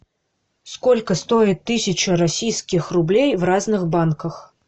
сколько стоит тысяча российских рублей в разных банках